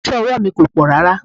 Oso ọwọ́ mi kò pọ̀ rárá.